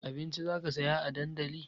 Abinci zaka saya a dandali?